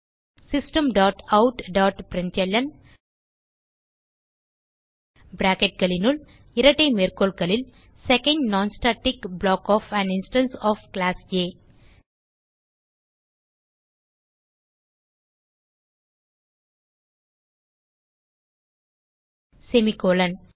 system dot out dot println bracketகளுனுள் இரட்டை மேற்கோள்களில் second non static block of an instance of class uh semicolon